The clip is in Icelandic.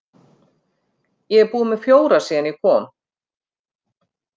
Ég er búinn með fjóra síðan ég kom.